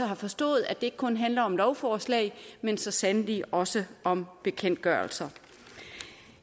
har forstået at det ikke kun handler om lovforslag men så sandelig også om bekendtgørelser